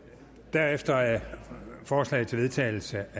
herefter er forslag til vedtagelse